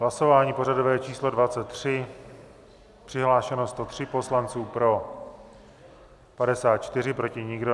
Hlasování pořadové číslo 23, přihlášeno 103 poslanců, pro 54, proti nikdo.